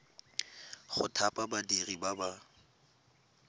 go thapa badiri ba ba